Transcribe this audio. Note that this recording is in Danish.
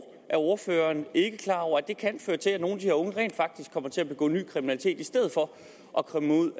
er ordføreren ikke klar over at det kan føre til at nogle af de her unge rent faktisk kommer til at begå ny kriminalitet i stedet for at komme ud